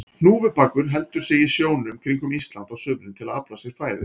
Hnúfubakur heldur sig í sjónum kringum Ísland á sumrin til að afla sér fæðu.